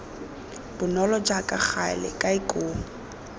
bonolo jaaka gale kae koo